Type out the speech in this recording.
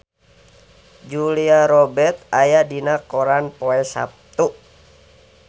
Julia Robert aya dina koran poe Saptu